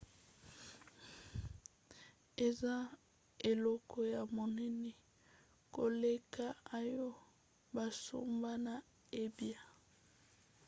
eza eloko ya monene koleka oyo basomba na ebay